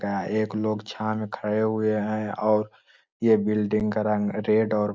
ते एक लोग छांव में खड़े हुए हैं और ये बिल्डिंग का रंग रेड और --